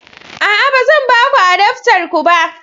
A'a, ba zan ba ku adaftar ku ba